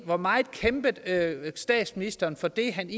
hvor meget kæmpede statsministeren for det han